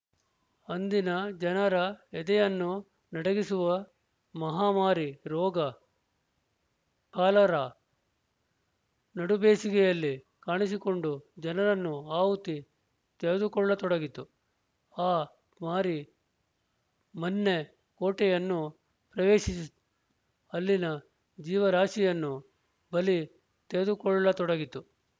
ಅಂದಿನ ಜನರ ಎದೆಯನ್ನು ನಡಗಿಸುವ ಮಹಾಮಾರಿ ರೋಗ ಕಾಲರಾ ನಡುಬೇಸಿಗೆಯಲ್ಲಿ ಕಾಣಿಸಿಕೊಂಡು ಜನರನ್ನು ಆಹುತಿ ತೆಗೆದುಕೊಳ್ಳತೊಡಗಿತು ಆ ಮಾರಿ ಮನ್ನೆ ಕೋಟೆಯನ್ನೂ ಪ್ರವೇಶಿಸಿತು ಅಲ್ಲಿನ ಜೀವರಾಶಿಯನ್ನು ಬಲಿ ತೆಗೆದುಕೊಳ್ಳತೊಡಗಿತು